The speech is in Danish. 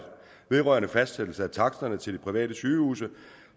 vedrørende fastsættelse af taksterne til de private sygehuse